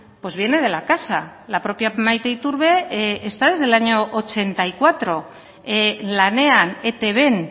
pues viene de la casa la propia maite iturbe está desde el año ochenta y cuatro lanean etbn